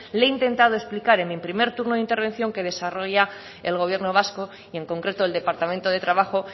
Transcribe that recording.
le he intentado explicar en mi primer turno de intervención que desarrolla el gobierno vasco y en concreto el departamento de trabajo